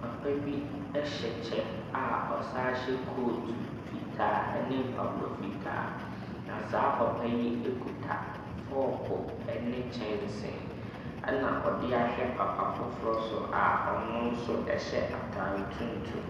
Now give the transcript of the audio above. Papa bi ɛhyɛ kyɛ a ɔsan so hyɛ kot fitaa ɛne mpaboa fitaa. Na saa papa yi kita fɔko ɛne kyɛnsee. Ɛna ɔde ahwɛ papa foforɔ so a ɔno nso ɛhyɛ atare tuntum.